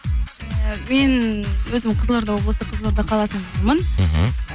мен өзім қызылорда облысы қызоларда қаласынанмын мхм